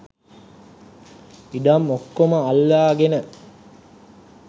ඉඩම් ඔක්කොම අල්ලාගෙන.